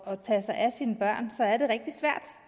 at tage sig af sine børn så er det rigtig svært